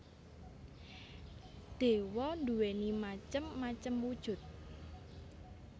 Dewa nduwéni macem macem wujud